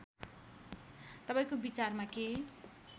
तपाईँको विचारमा के